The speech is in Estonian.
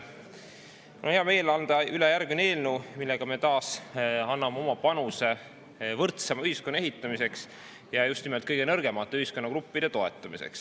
Mul on hea meel anda üle järgmine eelnõu, millega me taas anname oma panuse võrdsema ühiskonna ehitamisse ja just nimelt kõige nõrgemate ühiskonnagruppide toetamisse.